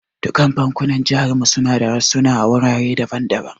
Dukkan bankunan jihar mu suna da rassuna a wurare daban daban.